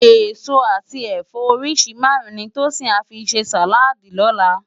Esó ati ẹfọ óriṣi márùn ni Tosin à fi sé sáládì lòlá